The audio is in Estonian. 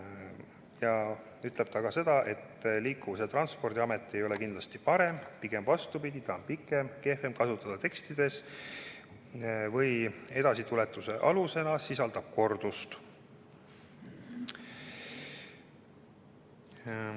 Ja ta ütles ka seda, et "liikuvus- ja transpordiamet" ei ole kindlasti parem, pigem vastupidi, see on pikem, tekstides kehvem kasutada ja edasituletuse alusena sisaldab kordust.